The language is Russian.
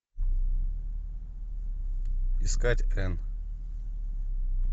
искать энн